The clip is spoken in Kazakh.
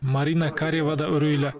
марина карева да үрейлі